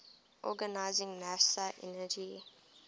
organizing nasa's energy